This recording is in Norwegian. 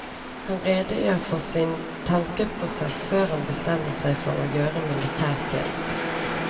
Han redegjør for sin tankeprosess før han bestemte seg for å gjøre militærtjeneste.